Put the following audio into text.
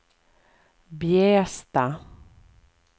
Bjästa